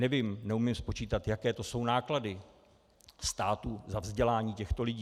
Nevím, neumím spočítat, jaké to jsou náklady státu za vzdělání těchto lidí.